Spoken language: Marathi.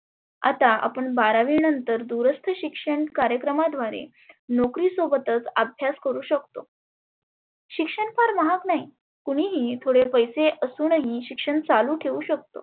आता आपण बारावी नंतर दुरस्त शिक्षण कार्यक्रमा द्वारे नोकरी सोबतच अभ्यास करु शकतो. शिक्षण पण महाग नाही कुणीही थोडे पेसे असुनही शिक्षण चालु ठेऊ शकतो.